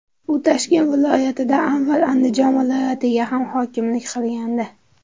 U Toshkent viloyatidan avval Andijon viloyatiga ham hokimlik qilgandi.